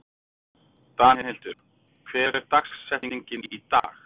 Danhildur, hver er dagsetningin í dag?